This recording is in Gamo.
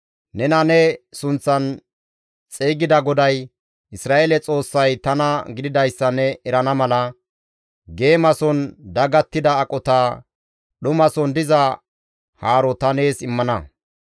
Nena ne sunththan xeygida GODAY, Isra7eele Xoossay tana gididayssa ne erana mala, geemason dagattida aqota, dhumason diza haaro ta nees immana.